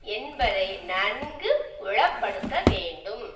என்பதை நன்கு புலப்படுத்தவேண்டும்